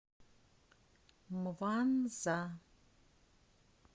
мванза